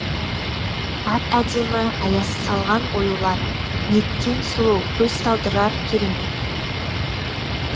әп әдемі аяз салған оюлар неткен сұлу көз талдырар керемет